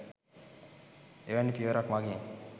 එවැනි පියවරක් මගින්